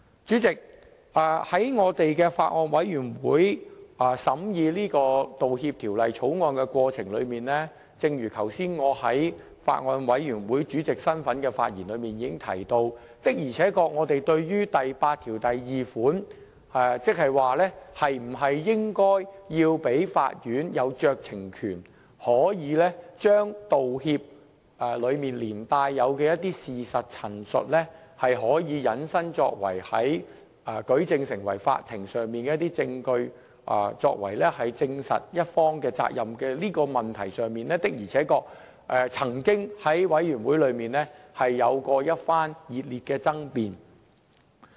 主席，在法案委員會審議《條例草案》的過程中，正如剛才我以法案委員會主席身份發言時已經提到，的而且確我們對於第82條，即是否應該給予法院酌情權，將道歉中連帶的一些事實陳述，引申成為法庭上的一些證據，作為證實某一方的法律責任問題上的舉證。的而且確，這點曾經在法案委員會中有過一番熱烈的爭辯。